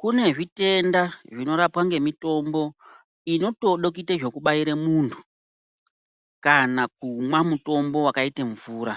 Kune zvitenda zvinorapwa ngemitombo inotode kuita zvekubaira muntu, kana kumwa mutombo vakaita mvura.